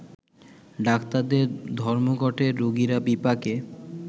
ডাক্তারদের ধর্মঘটে রোগিরা বিপাকে